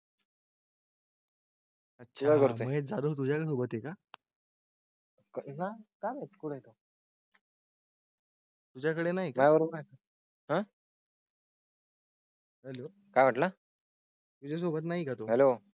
अच्छा कळते का? ना काळ येतो. तुझ्याकडे नाही काही आहे का? हेलो काय वाटलं? तुझ्या सोबत नाही तो हेलो.